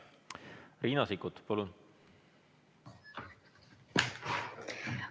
Riina Sikkut, palun!